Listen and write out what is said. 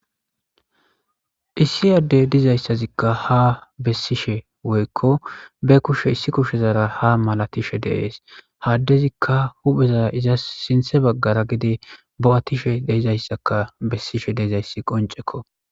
Issi ade dizaysazika ha besishe woyko be kushe issi kushezara ha malatishe des.ha adezika hupheza izasi sinththe bagara gede bo7atishe de7izaysaka besishe de7izaysi qoncekko.